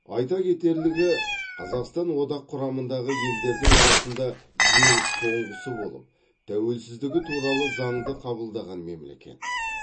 айта кетерлігі қазақстан одақ құрамындағы елдердің арасында ең соңғысы болып тәуелсіздігі туралы заңды қабылдаған мемлекет